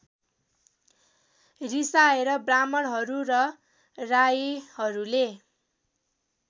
रिसाएका ब्राह्मणहरू र राईहरूले